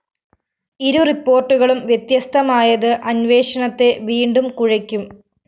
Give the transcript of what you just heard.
ഇരു റിപ്പോര്‍ട്ടുകളും വ്യത്യസ്തമായത് അന്വേഷണത്തെ വീണ്ടും കുഴയ്ക്കും